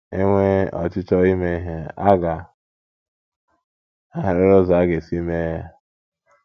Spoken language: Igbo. “ E nwee ọchịchọ ime ihe, a ga - ahụrịrị ụzọ a ga - esi mee ya.. ”